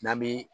N'an bi